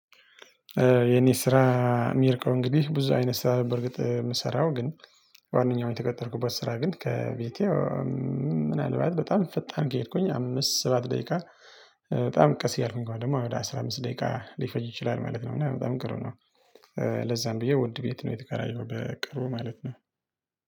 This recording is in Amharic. የኔ ስራ የሚርቀው እንግዲህ ብዙ አይነት ስራ በርግጥ የምሰራው ግን ዋናው የተቀጠርኩበት ስራ ግን ከቤቴ ምናልባት በጣም ፈጣን ከሄድኩኝ አምስት ሰባት ደቂቃ በጣም ቀስ እያልኩኝ ግን ደግሞ ወደ አስራ አምስት ደቂቃ ሊፈጅ ይችላል ማለት ነው። እና በጣም ቅርብ ነው። ለዛም ብዬ ውድ ቤት ነው የተከራየውት በቅርቡ ማለት ነው።